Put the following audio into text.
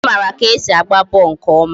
Chike mara ka e si agba bọọlụ nke ọma